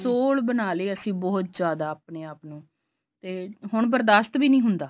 ਸੋਹਲ ਬਣਾ ਲਏ ਅਸੀਂ ਬਹੁਤ ਜਿਆਦਾ ਆਪਣੇ ਆਪ ਨੂੰ ਤੇ ਹੁਣ ਬਰਦਾਸਤ ਵੀ ਨੀ ਹੁੰਦਾ